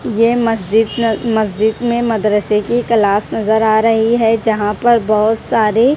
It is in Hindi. यह मस्जिद न मस्जिद में मदरसे की क्लास नजर आ रही है जहां पर बहुत सारे --